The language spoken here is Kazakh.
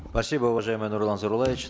спасибо уважаемый нурлан зайроллаевич